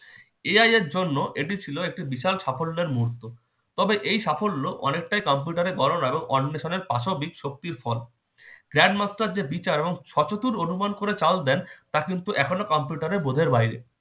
AI এর জন্য ছিল এটি একটি বিশাল সাফল্যতার মুহূর্ত তবে এই সাফল্য অনেকটাই কম্পিউটারের গণনা এবং অন্বেষণের পাশবিক শক্তির ফল grand master যে বিচার এবং অনুমান করে চাল দেন তা এখনো কম্পিউটারের বোঝার বাইরে